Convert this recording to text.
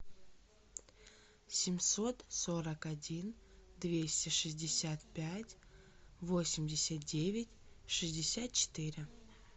семьсот сорок один двести шестьдесят пять восемьдесят девять шестьдесят четыре